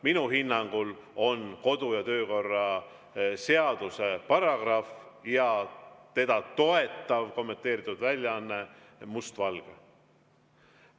Minu hinnangul on kodu‑ ja töökorra seaduse paragrahv ja seda toetav kommenteeritud väljaanne mustvalge.